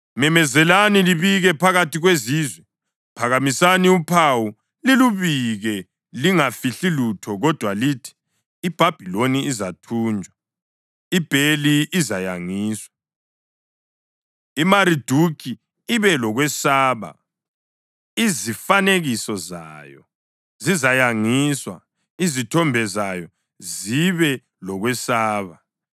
“Memezelani libike phakathi kwezizwe, phakamisani uphawu lilubike; lingafihli lutho, kodwa lithi, ‘IBhabhiloni izathunjwa, iBheli izayangiswa, iMariduki ibe lokwesaba. Izifanekiso zayo zizayangiswa, izithombe zayo zibe lokwesaba.’